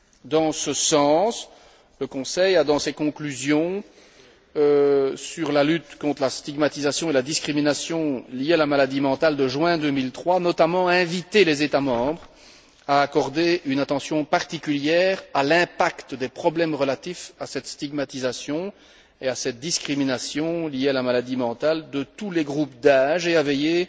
Dans ce sens, le Conseil a, dans ses conclusions sur la lutte contre la stigmatisation et la discrimination liées à la maladie mentale de juin 2003, invité notamment les États membres à accorder une attention particulière à l'impact des problèmes relatifs à cette stigmatisation et à cette discrimination liées à la maladie mentale de tous les groupes d'âge, et à veiller